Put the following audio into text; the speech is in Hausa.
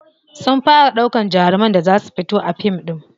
Sun fara ɗaukan jaruman da za su fito a fim ɗin.